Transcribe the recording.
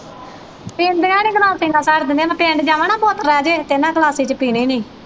ਪੀਂਦੀਆਂ ਨੀ ਗਲਾਸੀ ਨਾਲ ਪਿੰਡ ਜਾਵਾਂ ਨਾ ਇਹਨਾਂ ਗਲਾਸੀ ਚ ਪੀਣੀ ਨੀ।